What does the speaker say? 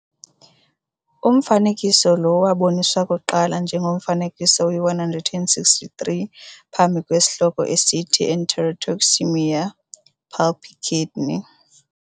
Umfanekiso lo waboniswa kuqala njengomfanekiso we-163 phantsi kwesihloko esithi Enterotoxaemia, pulpy kidney.